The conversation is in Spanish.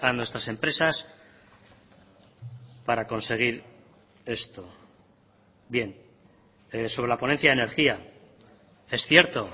nuestras empresas para conseguir esto bien sobre la ponencia de energía es cierto